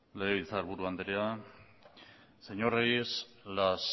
legebiltzarburu andrea señor reyes las